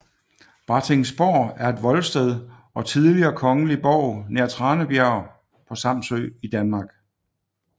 Brattingsborg er et voldsted og tidligere kongelig borg nær Tranebjerg på Samsø i Danmark